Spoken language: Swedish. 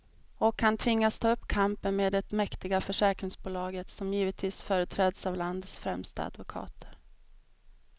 Och han tvingas ta upp kampen med det mäktiga försäkringsbolaget, som givetvis företräds av landets främsta advokater.